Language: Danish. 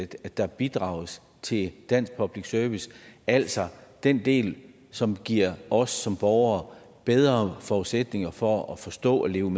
der bidrages til dansk public service altså den del som giver os som borgere bedre forudsætninger for at forstå og leve